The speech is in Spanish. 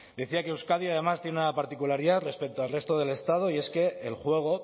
decía que euskadi además tiene una particularidad respecto al resto del estado y es que el juego